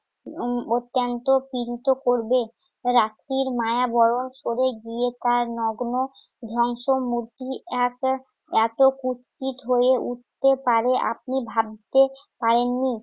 উম অত্যন্ত পীড়িত করবে। রাত্রির মায়া বরং সরে গিয়ে তার নগ্ন ধ্বংসমূর্তি এত~ এত কুৎসিত হয়ে উঠতে পারে আপনি ভাবতে পারেননি।